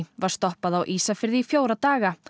var stoppað á Ísafirði í fjóra daga